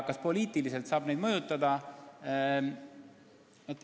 Kas poliitiliselt saab neid mõjutada?